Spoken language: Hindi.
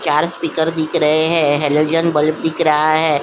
चार स्पीकर दिख रहे हैं हैलोजन बल्ब दिख रहा है।